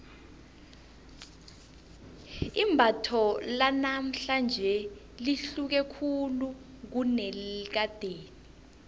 imbatho lanamhlanje lihluke khulu kunelakade